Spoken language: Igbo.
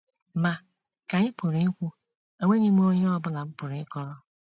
‘Ma, ka ị pụrụ ikwu, enweghị m onye ọ bụla m pụrụ ịkọrọ.